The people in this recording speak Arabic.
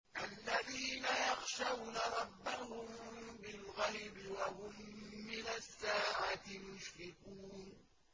الَّذِينَ يَخْشَوْنَ رَبَّهُم بِالْغَيْبِ وَهُم مِّنَ السَّاعَةِ مُشْفِقُونَ